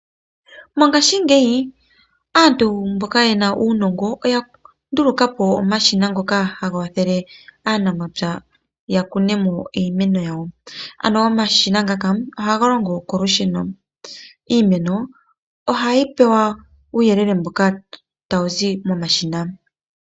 Mongaashingeyi aantu mboka yena uunongo, oya ndulukapo omashina ngoka haga wathele aanamapya yakune iimeno yawo. Ano omashina ngaka ohaga longo kolusheno. Iimeno ohayi pewa uuyelele mboka tawu zi momashina.